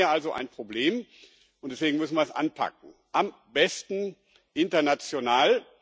Wir haben hier also ein Problem, und deswegen müssen wir es anpacken, am besten international.